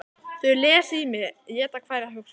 Þau lesa í mig, éta hverja hugsun.